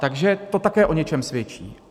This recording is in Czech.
Takže to také o něčem svědčí.